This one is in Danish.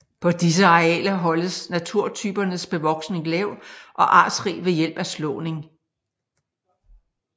På disse arealer holdes naturtypernes bevoksning lav og artsrig ved hjælp af slåning